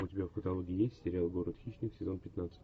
у тебя в каталоге есть сериал город хищник сезон пятнадцать